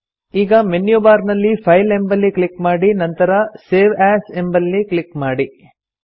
ಈಗ menu bar ನಲ್ಲಿ file ಎಂಬಲ್ಲಿ ಕ್ಲಿಕ್ ಮಾಡಿ ನಂತರ ಸೇವ್ ಎಎಸ್ ಎಂಬಲ್ಲಿ ಕ್ಲಿಕ್ ಮಾಡಿ